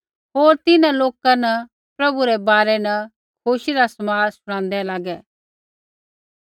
होर तिन्हां लाकै न प्रभु रै बारै न खुशी रा समाद शुणादै लागै